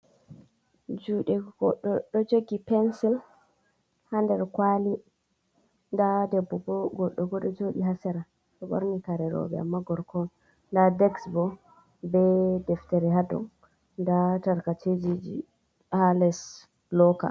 Juɗe godɗo ɗo jogi pensil ha nder kwali, nda debbo bo goddo ɓo ɗo joɗi hasera ɗo ɓorni kare roɓe amma gorko on, nda dex bo be deftere hadow, nda tarkacejiji ha les loka.